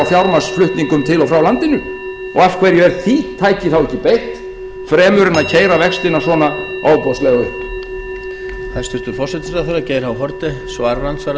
fjármagnsflutningum til og frá landinu og af hverju er því tæki þá ekki beitt fremur en að keyra vextina svona ofboðslega upp